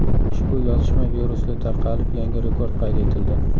Ushbu yozishma virusli tarqalib, yangi rekord qayd etildi.